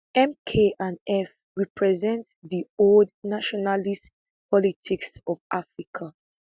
mk and eff represent di old nationalist politics of africa